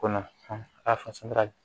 Kɔnɔ